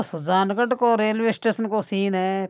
सुजानगढ़ को रेलवे को स्टेसन को सीन हैं।